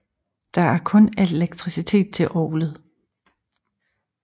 Der er kun elektriciet til orglet